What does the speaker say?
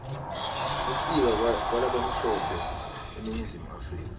kufika kwalabamhlope eningizimu africa